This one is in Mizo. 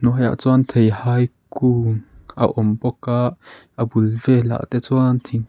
haiah chuan theihai kung a awm bawk a a bul velah te chuan thing--